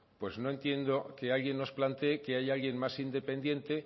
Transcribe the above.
pues no entiendo que alguien nos plantee que hay alguien más independiente